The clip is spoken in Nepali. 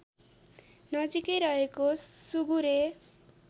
नजिकै रहेको सुगुरे